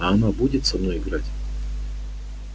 а она будет со мной играть